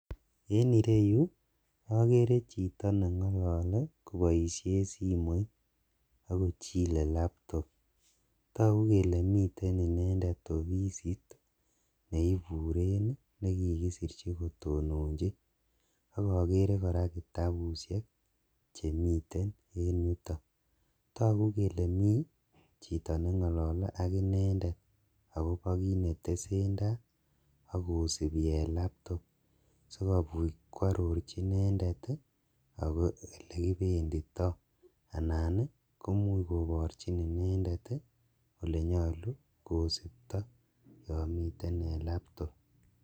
En ireyuu okeree chito neng'olole koboishen simoit akochilee laptop, tokuu kelee miten inendet ofisit neiburen nekikisirchi kotononchi akokeree kora kitabushek chemiten en yuton, tokuu kelee mii chito neng'olole ak inendet akoboo kiit netesentai akosibii en laptop sikobit kwororchi inendet akoboo elekibenditoo anan komuch koborchin inendet olenyolu kosiptoo yoon miten en laptop.